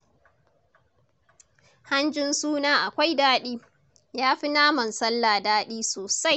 Hanjin suna akwai daɗi. Ya fi naman sallah daɗi sosai